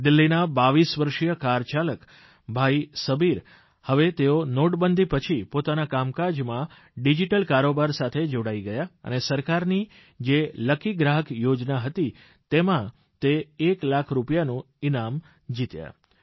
દિલ્લીના 22 વર્ષીય કારચાલક ભાઇ સબીર હવે તેઓ નોટબંધી પછી પોતાના કામકાજમાં ડીજીટલ કારોબાર સાથે જોડાઇ ગયા અને સરકારની જે લકી ગ્રાહક યોજના હતી તેમાં તે એક લાખ રૂપિયાનું જે ઇનામ મળી ગયું